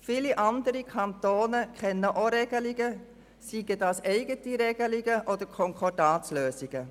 Viele andere Kantone kennen auch Regelungen, seien dies eigene Regelungen oder Konkordatslösungen.